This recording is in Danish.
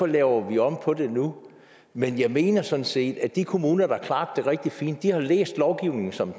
laver vi om på det nu men jeg mener sådan set at de kommuner der har det rigtig fint har læst lovgivningen som